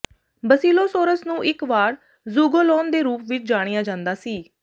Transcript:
Basilosaurus ਨੂੰ ਇੱਕ ਵਾਰ ਜ਼ੂਗੋਲੌਨ ਦੇ ਰੂਪ ਵਿੱਚ ਜਾਣਿਆ ਜਾਂਦਾ ਸੀ